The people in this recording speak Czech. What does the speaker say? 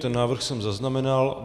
Ten návrh jsem zaznamenal.